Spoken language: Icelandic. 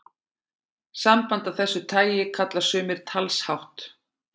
Samband af þessu tagi kalla sumir talshátt.